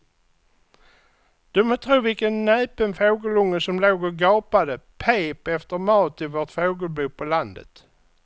Du må tro vilken näpen fågelunge som låg och gapade och pep efter mat i vårt fågelbo på landet.